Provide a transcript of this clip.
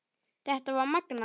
Þetta var magnað.